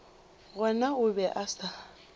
gona o be a sa